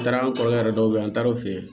N taara an kɔrɔkɛ dɔw be yen an taar'o fɛ yen